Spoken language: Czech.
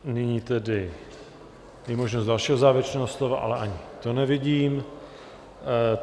Nyní je tedy možnost dalšího závěrečného slova, ale ani to nevidím.